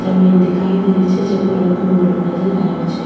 जमींन दिखाई दे रही छे जेको रंग भूरो नजर आ रहियो छे।